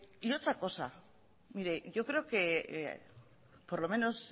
y otra cosa mire yo creo que por lo menos